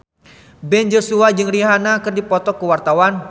Ben Joshua jeung Rihanna keur dipoto ku wartawan